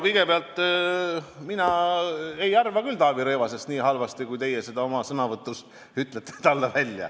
Kõigepealt, mina ei arva küll Taavi Rõivasest nii halvasti, nagu teie oma sõnavõtus ütlesite.